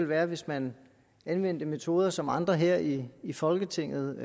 være hvis man anvendte metoder som andre her i i folketinget